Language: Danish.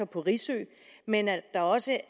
på risø men at der også